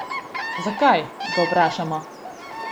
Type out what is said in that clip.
Zakaj, ga vprašamo.